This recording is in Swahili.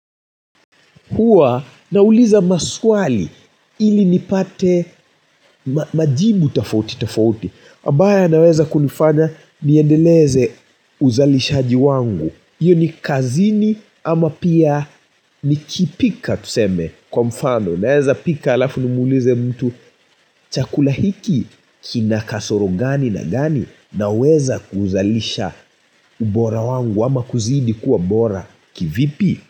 Hua nauliza maswali ili nipate majibu tofauti tofauti ambayo yanaweza kunifanya niendeleze uzalishaji wangu, hiyo ni kazini ama pia nikipika tuseme kwa mfano, naweza pika alafu nimuulize mtu chakula hiki kina kasoro gani na gani?. Naweza kuzalisha ubora wangu ama kuzidi kuwa bora kivipi?